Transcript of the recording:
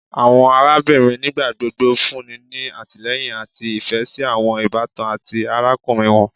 Awọn arabinrin nigbagbogbo funni ni atilẹyin ati ifẹ si awọn ibatan ati arakunrin wọn